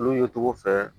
Olu ye cogo fɛ